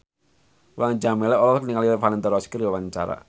Mulan Jameela olohok ningali Valentino Rossi keur diwawancara